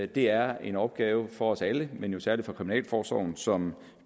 det er en opgave for os alle men jo særlig for kriminalforsorgen som